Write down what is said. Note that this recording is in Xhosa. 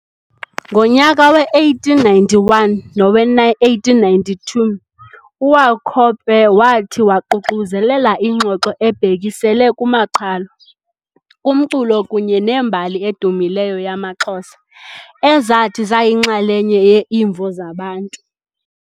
Ngonyaka we-1891 nowe-1892, uWauchope wathi waququzelela ingxoxo ebhekisele kumaqhalo, kumculo kunye nembali edumileyo yamaXhosa, ezathi zayinxalenye ye-Imvo Zabantu.